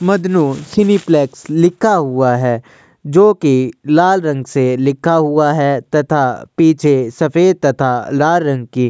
मदनों cineplex लिखा हुआ है जोकि लाल रंग से लिखा हुआ है तथा पीछे सफेद तथा लाल रंग की --